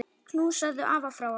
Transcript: Knúsaðu afa frá okkur.